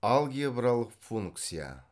алгебралық функция